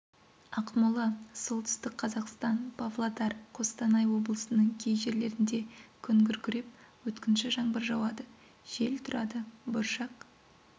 ақмола солтүстік қазақстан павлодар қостанай облысының кей жерлерінде күн күркіреп өткінші жаңбыр жауады жел тұрады бұршақ